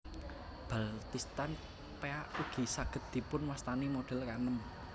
Baltistan Peak ugi saged dipun wastani model kaenem